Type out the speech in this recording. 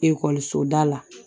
Ekɔliso da la